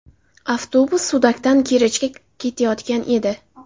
Avtobus Sudakdan Kerchga ketayotgan edi.